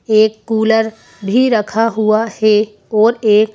एक कूलर भी रखा हुआ है और एक--